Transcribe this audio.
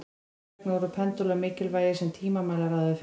Þess vegna voru pendúlar mikilvægir sem tímamælar áður fyrr.